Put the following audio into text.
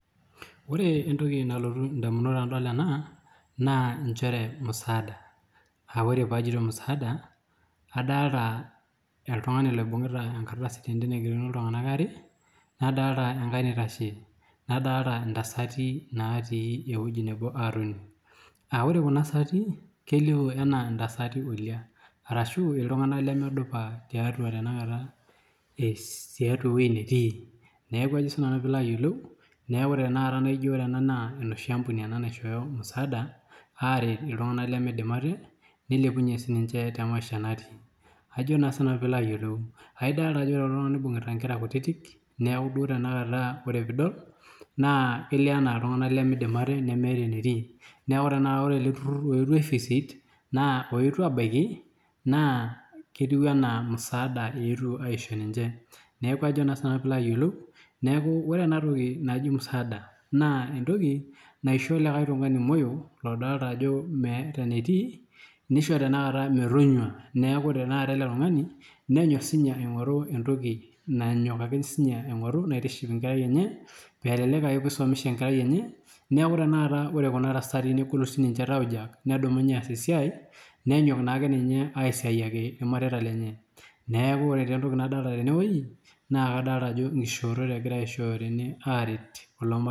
Ore entoki nalotu edamunot tenadol ena naa musadaa aa ore pajoito musadaa adolita oltung'ani oibungita tenkardasi oigerokini iltung'ana are nadolita naitashe nadolita ntasati natii ewueji nebo atoni ore Kuna tasati kelio enaa ntasati olia ashu iltung'ana lemedupa tiatua ewueji netii neeku ore ena naa enoshi ambuni naishoyo musadaa aret iltung'ana lemidim ate nilepunye sininje tee maisha natii edolita Ajo ore kulo tung'ana nibungita Nkera kutiti neeku tanakata peidol kelio ena iltung'ana lemidim ate nemeeta enetiu neeku ore ele turur oyetuo aivisit oyetuo abaiki naa kelio ena musadaa etuo aishoo ninche neeku ore enatoki naaji musadaa naa entoki naisho lekae tung'ani moyo odolita Ajo meeat enetii nishoo metonyua neeku ore tanakata ele tung'ani nenyok aing'oru entoki nanyok sininye aing'oru naitiship enkerai enye elelek aa pisomesha enkerai enye neeku ore Kuna tasati negolu tauja nedumunye aas esiai nenyok naake ninye aisiayiaki irmareita lenye neeku ore entoki nadolita tene naa nkishorot egirai aishoyo teene aret kulo mareitaa